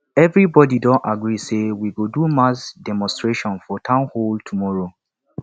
everybody don agree say we go do mass demonstration for town hall tomorrow